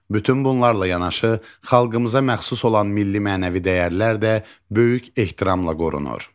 Bütün bunlarla yanaşı xalqımıza məxsus olan milli-mənəvi dəyərlər də böyük ehtiramla qorunur.